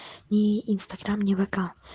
ни инстаграм не вк